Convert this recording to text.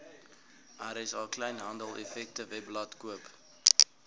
rsa kleinhandeleffektewebblad koop